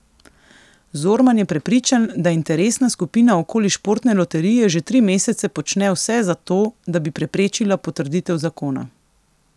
Zorman je prepričan, da interesna skupina okoli Športne loterije že tri mesece počne vse za to, da bi preprečila potrditev zakona.